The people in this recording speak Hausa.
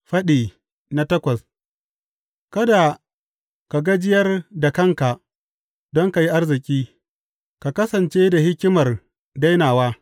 Faɗi takwas Kada ka gajiyar da kanka don ka yi arziki; ka kasance da hikimar dainawa.